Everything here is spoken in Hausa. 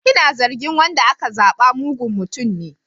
Ina zargin wanda aka zaba mugun mutum ne.